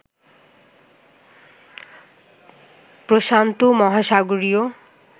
প্রশান্ত মহাসাগরীয়